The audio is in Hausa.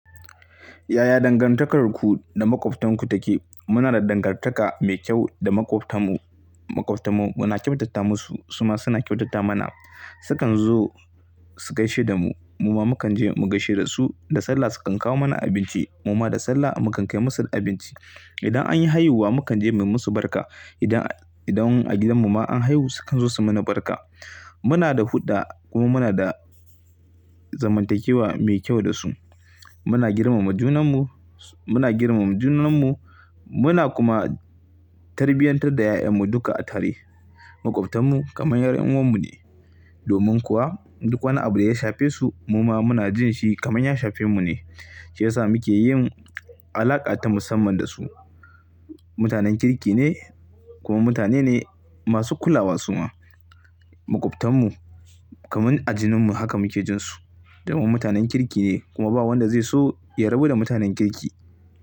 Yaya dangantakarku da maƙwabtanku take? Muna da dangartaka mai kyau da maƙwabtan mu, maƙwabtan mu muna kyautata musu suma suna kyautata mana su kanzo su gaishe damu muma mukan je mu gaishe dasu Da sallah sukan kawo mana abinci, mu ma da sallah mu kan kai musu abinci. Idan an yi haihuwa mu kan je mu yi musu barka. Idan, idan a gidanmu ma an haihu sukan zo su mana barka. Muna da hulɗa kuma muna da zamantakewa mai kyau da su. Muna girmama junanmu, muna girmama junanmu muna kuma tarbiyantar da 'ya'yanmu duka a tare. Maƙwabtanmu kamar 'yar uwar mu ne. Domin kuwa duk wani abu da ya shafe su mu ma muna jin shi kamar ya shafe mu ne. Shi ya sa muke yin alaƙa ta musamman da su. Mutanen kirki ne kuma mutane ne masu kulawa su ma. Maƙwabtan mu kamar a jininmu haka muke jin su domin mutanen kirki ne kuma babu wanda zai so ya rabu da mutanen kirki.